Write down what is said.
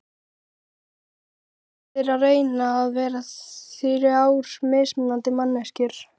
Það eru allir að reyna að vera þrjár mismunandi manneskjur.